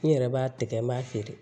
N yɛrɛ b'a tigɛ n b'a feere